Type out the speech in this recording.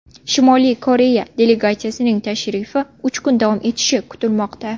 Shimoliy Koreya delegatsiyasining tashrifi uch kun davom etishi kutilmoqda.